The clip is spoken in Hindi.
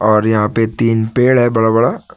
और यहां पे तीन पेड़ है बड़ा बड़ा।